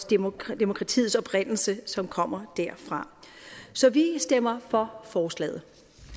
demokratiets oprindelse som kommer derfra så vi stemmer for forslaget